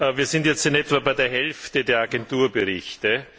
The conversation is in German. Wir sind jetzt in etwa bei der Hälfte der Agenturberichte.